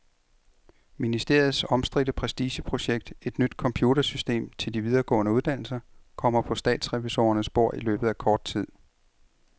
Ministeriets omstridte prestigeprojekt, et nyt computersystem til de videregående uddannelser, kommer på statsrevisorernes bord i løbet af kort tid.